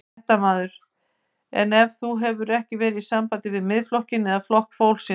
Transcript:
Fréttamaður: En þú hefur ekki verið í sambandi við Miðflokkinn eða Flokk fólksins?